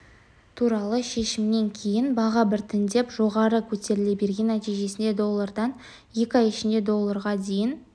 туралы шешімнен кейін баға біртіндеп жоғары көтеріле берген нәтижесінде доллардан екі ай ішінде долларға дейін